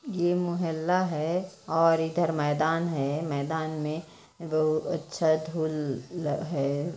ये मोहल्ला है और इधर मैदान है मैदान में बहुत अच्छा धूल है।